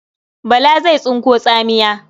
Bala zai tsinko tsamiya.